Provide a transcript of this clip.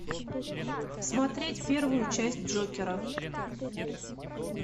смотреть первую часть джокера